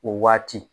O waati